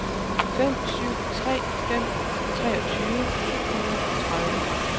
fem syv tre fem treogtyve syv hundrede og tredive